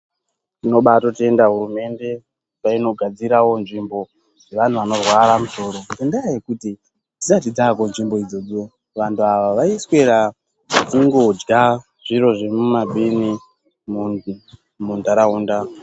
Tinobaatotenda hurumende painogadzirawo nzvimbo yevantu vanorwara musoro, ngendaa yekuti dzisati dzaako nzvimbo idzodzo vantu ava vaiswera vachingodya zviro zviri mumabini mundaraunda.